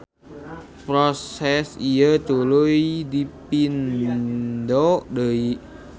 Proses ieu tuluy dipindo deui.